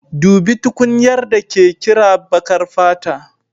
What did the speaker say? Dubi tukunyar da ke kira baƙar fata